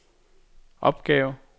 opgave